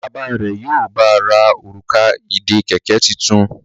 Bàbá rẹ yíò bá rà Òrùka ìdè kẹ̀kẹ́ títún.